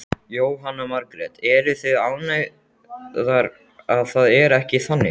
Jóhanna Margrét: Eruð þið ánægðar að það er ekki þannig?